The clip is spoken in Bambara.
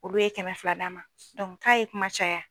Olu ye kɛmɛ fila d'a ma dɔnku k'a ye kuma caya